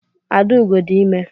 Adaugo dị ime.